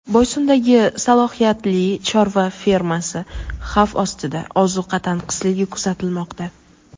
Boysundagi salohiyatli chorva fermasi xavf ostida: ozuqa tanqisligi kuzatilmoqda.